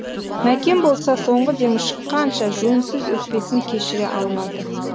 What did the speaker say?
мәкен болса соңғы демі шыққанша жөнсіз өкпесін кешіре алмады